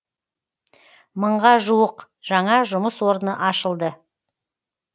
мыңға жуық жаңа жұмыс орны ашылды